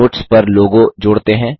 notes पर logo जोड़ते हैं